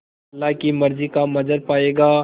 अल्लाह की मर्ज़ी का मंज़र पायेगा